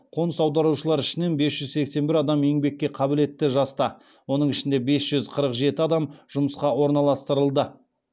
қоныс аударушылар ішінен бес жүз сексен бір адам еңбекке қабілетті жаста оның ішінде бес жүз қырық жеті адам жұмысқа орналастырылды